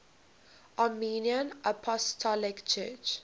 armenian apostolic church